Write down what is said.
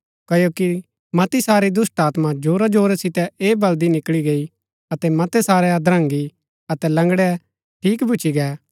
क्ओकि मती सारी दुष्‍टात्मा जोरा जोरा सितै ऐह बलदी निकळी गई अतै मतै सारै हद्रगीं अतै लंगड़ै ठीक भूच्ची गै